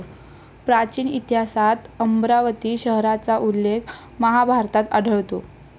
प्राचीन इतिहासात अमरावती शहराचा उल्लेख महाभारतात आढळतो.